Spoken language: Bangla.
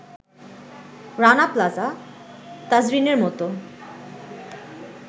রানা প্লাজা, তাজরিনের মতো